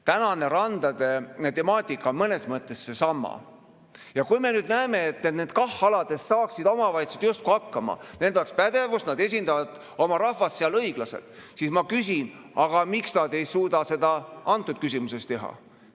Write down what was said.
Tänane randade temaatika on mõnes mõttes seesama ja kui me näeme, et nende KAH-aladega saaksid omavalitsused justkui hakkama, neil oleks pädevust, nad esindaksid oma rahvast õiglaselt, siis ma küsin, miks nad ei suudaks seda kõnealuses küsimuses teha.